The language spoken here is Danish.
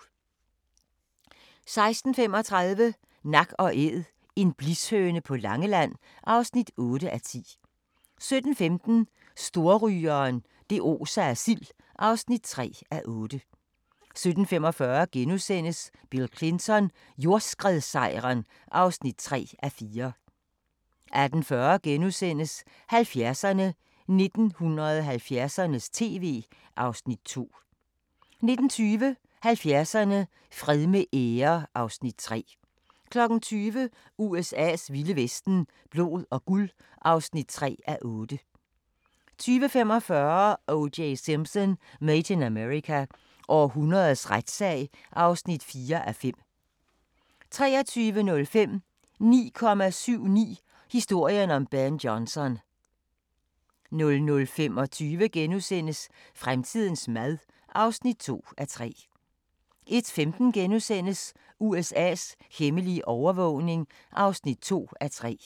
16:35: Nak & æd - En blishøne på Langeland (8:10) 17:15: Storrygeren – det oser af sild (3:8) 17:45: Bill Clinton: Jordskredssejren (3:4)* 18:40: 70'erne: 1970'ernes tv (Afs. 2)* 19:20: 70'erne: Fred med ære (Afs. 3) 20:00: USA's vilde vesten: Blod og guld (3:8) 20:45: O.J. Simpson: Made in America – århundredets retssag (4:5) 23:05: 9,79 – historien om Ben Johnson 00:25: Fremtidens mad (2:3)* 01:15: USA's hemmelige overvågning (2:3)*